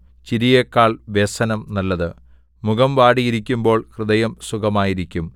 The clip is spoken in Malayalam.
ചിരിയെക്കാൾ വ്യസനം നല്ലത് മുഖം വാടിയിരിക്കുമ്പോൾ ഹൃദയം സുഖമായിരിക്കും